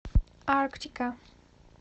арктика